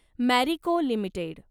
Marico limited